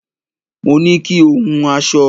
Mo ní kí o hun aṣọ